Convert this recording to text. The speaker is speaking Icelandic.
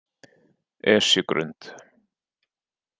Esjugrund